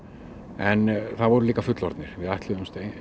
en það voru líka fullorðnir við ætluðumst